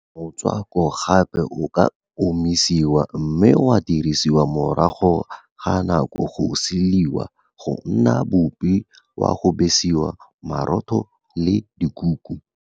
Motswako gape o ka omisiwa mme wa dirisiwa morago ga nako go silwa go nna boupi wa go besa marotho le dikuku.